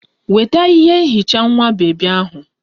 Weta ihe nhicha nwa bebi ahụ!